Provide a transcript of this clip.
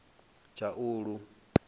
tshaulu